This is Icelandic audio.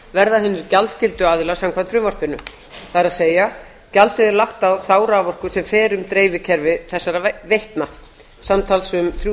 verða hinir gjaldskyldu aðilar samkvæmt frumvarpinu það er gjaldið er lagt á þá raforku sem fer um dreifikerfi þessara veitna samtals um þrjú